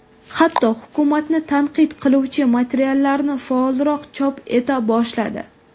Hatto, hukumatni tanqid qiluvchi materiallarni faolroq chop eta boshladi.